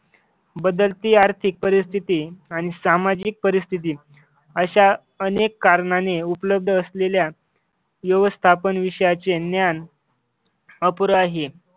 बदलती आर्थिक परिस्थिती आणि सामाजिक परिस्थिती अशा अनेक कारणांनी उपलब्ध असलेल्या व्यवस्थापन विषयाचे ज्ञान अपुर आहे.